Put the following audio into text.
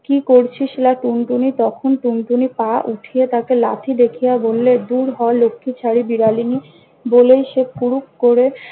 কি করছিস লা টুনটুনি? তখন টুনটুনি পা উঠিয়ে তাকে লাথি দেখিয়া বললে- দূর হ লক্ষিছারি বিড়ালীনি! বলেই সে ফুরুক করে